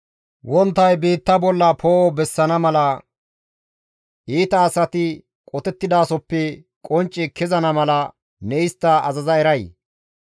Wonttay biitta bolla poo7o bessana mala iita asati qotettidasoppe qoncce kezana mala ne istta azaza eray?